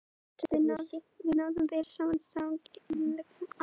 Við náðum vel saman í gegnum sameiginlega ást okkar á efninu.